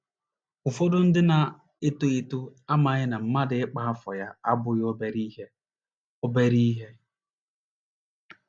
Ụfọdụ ndị na - eto eto amaghị na mmadụ ịkpa afọ ya abụghị obere ihe. obere ihe.